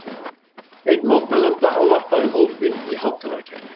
Einn mótmælenda ávarpaði hópinn í hátalarakerfi